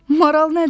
Maral nədir?